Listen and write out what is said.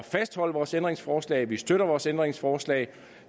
fastholde vores ændringsforslag vi støtter vores ændringsforslag